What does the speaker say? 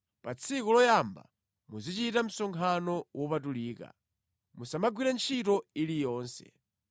Pa tsiku loyamba muzichita msonkhano wopatulika. Musamagwire ntchito iliyonse.